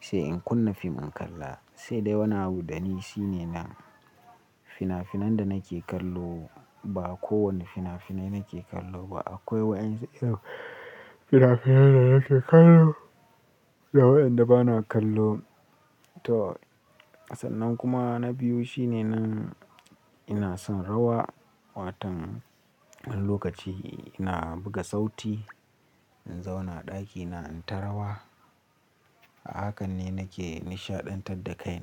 sai in kunna fim in kalla. Sai dai wani abu dani shine nan fina-finan danake kallo ba kowane fina-finai nake kallo ba. Akwai waɗansu fina-finai danake kallo da waɗanda bana kallo. To sannan kuma na biyu shine nan ina son rawa. Watan wani lokaci ina buga sauti in zauna ɗakina in ta rawa. Hakan ne nake nishaɗantar da kaina.